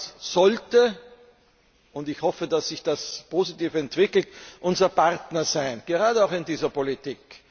Denn Russland sollte und ich hoffe, dass sich das positiv entwickelt unser Partner sein, gerade auch in dieser Politik.